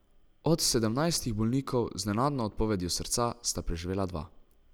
Od sedemnajstih bolnikov z nenadno odpovedjo srca sta preživela dva.